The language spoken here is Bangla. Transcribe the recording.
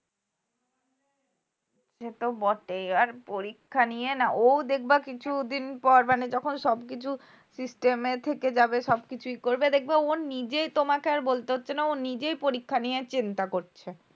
সে তো বটেই আর পরীক্ষা নিয়ে না ও দেখবে কিছুদিন পর মানে যখন সবকিছু system এ থেকে যাবে সবকিছুই করবে দেখবে ওর নিজেই তোমাকে আর বলতে হচ্ছে না ও নিজেই পরীক্ষা নিয়ে চিন্তা করছে